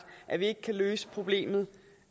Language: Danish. at vi ikke kan løse problemet